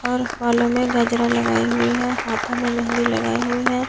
और बालों में गजरा लगाई हुई है हाथों में मेहंदी लगाई हुई है।